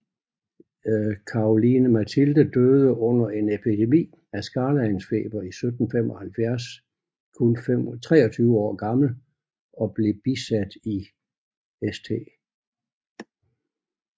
Caroline Mathilde døde under en epidemi af skarlagensfeber i 1775 kun 23 år gammel og blev bisat i St